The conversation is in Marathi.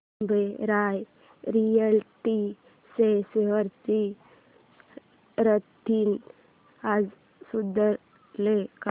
ओबेरॉय रियाल्टी च्या शेअर्स ची स्थिती आज सुधारेल का